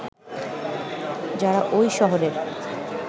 যারা ওই শহরের